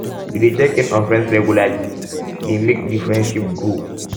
to de check in on friends regularly de friends regularly de make di friendship grow